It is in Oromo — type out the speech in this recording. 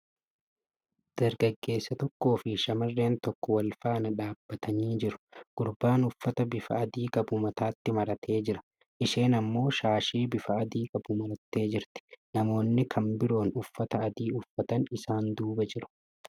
Dargaggeessa tokkoo fi shamarreen tokko walfaana dhaabatanii jiru. Gurbaan uffata bifa adii qabu mataatti maratee jira. Isheen ammoo shaashii bifa adii qabu marattee jirti. Namoonni kan biroon uffata adii uffatan isaan duuba jiru.